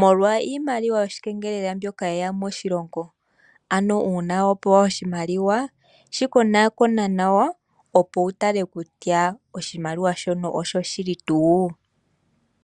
molwa iimaliwa yo shikengelela mbyoka ye ya moshilongo. Ano uuna wa pewa oshimaliwa shi konaakona nawa, opo wu tale kutya oshimaliwa shono oshoshili tuu.